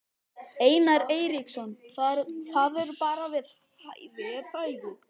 Einar Eiríksson: Það er bara við hæfi er það ekki?